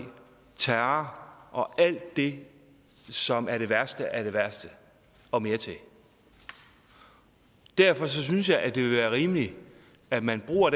terror og alt det som er det værste af det værste og mere til derfor synes jeg det vil være rimeligt at man bruger